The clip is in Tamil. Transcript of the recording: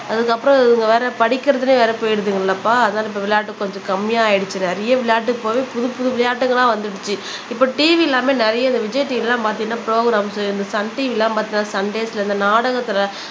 அதுக்கப்புறம் இவங்க வேற படிக்கிறதிலேயே வேற போயிடுதுங்களப்பா அதனால இப்ப விளையாட்டு கொஞ்சம் கம்மியா ஆயிடுச்சு நிறைய விளையாட்டுக்கு போயி புதுப்புது விளையாட்டுகளா வந்திடுச்சு இப்ப TV எல்லாமே நிறைய இந்த விஜய் TV எல்லாம் பார்த்தீங்கன்னா ப்ரொக்ராம்ஸ் இந்த சன் TV எல்லாம் பார்த்தீங்கன்னா சண்டேஸ்ல இந்த நாடகத்துல